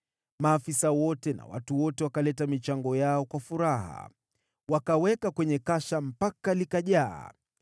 Maafisa wote na watu wote wakaleta michango yao kwa furaha, wakaweka kwenye kasha mpaka likajaa.